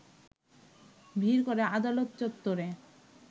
ভিড় করে আদালত চত্বরে